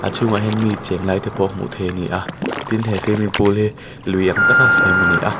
chhunga ah hian mi chenglai te pawh hmu thei a ni a tin he swimming pool hi lui ang tak a siam a ni a.